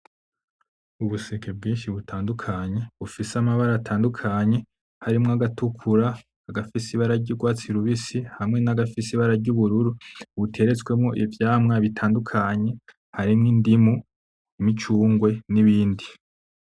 Ubuseke bwinshi butandukanye bufise amabara atandukanye harimwo agatukura, agafise ibara ry'ugwatsi rubisi hamwe nagafise ibara ry'ubururu, buteretswemwo ivyamwa bitandukanye harimwo indimu, imicungwe n'ibindi.